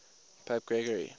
pope gregory